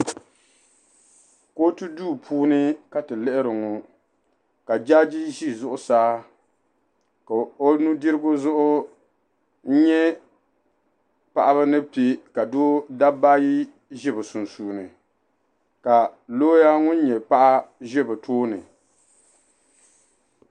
kootu duu puuni ka ti lihiri ŋɔ ka jaaji ʒi zuɣusaa ka o nu' dirigu zuɣu n-nya paɣaba ni pe ka dabba ayi ʒi bɛ sunsuuni ka looya ŋun nyɛ paɣa ʒi be bɛ puuni.